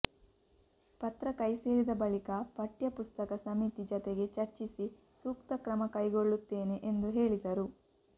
ಪತ್ರ ಕೈಸೇರಿದ ಬಳಿಕ ಪಠ್ಯ ಪುಸ್ತಕ ಸಮಿತಿ ಜತೆಗೆ ಚರ್ಚಿಸಿ ಸೂಕ್ತ ಕ್ರಮಕೈಗೊಳ್ಳುತ್ತೇನೆ ಎಂದು ಹೇಳಿದರು